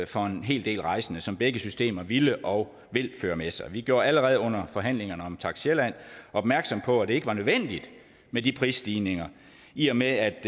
for en hel del rejsende som begge systemer ville og vil føre med sig vi gjorde allerede under forhandlingerne om takst sjælland opmærksom på at det ikke var nødvendigt med de prisstigninger i og med at